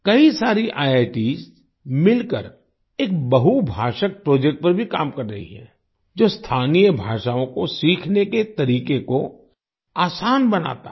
कई सारी आईआईटीएस मिलकर एक बहुभाषक प्रोजेक्ट पर भी काम कर रही हैं जो स्थानीय भाषाओँ को सीखने के तरीक़े को आसान बनाता है